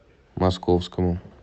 московскому